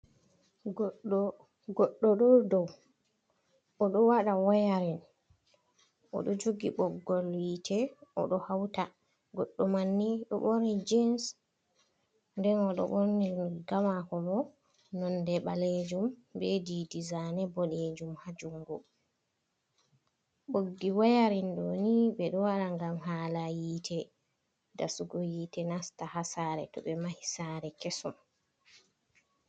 Goɗɗo ɗo dow. O ɗo waɗa wayarin o ɗo jogi ɓoggol hiite o ɗo hawta. Goɗɗo manni ɗo ɓorni jins nden o ɗo ɓorni riga maako bo nonde ɓaleejum be diidi zane boɗeejum ha jungo. Ɓoggi wayarin ɗo ni ɓe ɗo waɗa gam hala hiiti dasugo hiite nasta ha saare to ɓe mahi saare kesum.